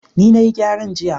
ni na yi gyaran jiya